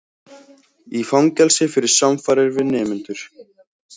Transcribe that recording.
Í fangelsi fyrir samfarir við nemendur